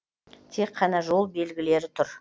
тек қана жол белгілері тұр